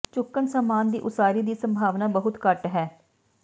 ਚੁੱਕਣ ਸਾਮਾਨ ਦੀ ਉਸਾਰੀ ਦੀ ਸੰਭਾਵਨਾ ਬਹੁਤ ਘੱਟ ਹੈ